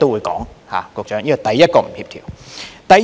局長，這是第一個不協調。